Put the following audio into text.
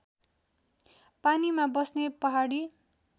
पानीमा बस्ने पहाडी